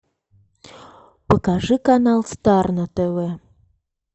покажи канал стар на тв